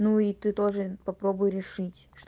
ну и ты тоже попробуй решить